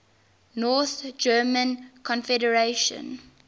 north german confederation